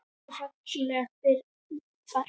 Elsku fallega Birna amma mín.